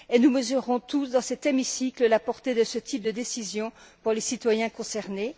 Et nous mesurons tous, dans cet hémicycle, la portée de ce type de décision pour les citoyens concernés.